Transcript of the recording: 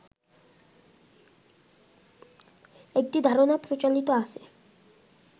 একটি ধারণা প্রচলিত আছে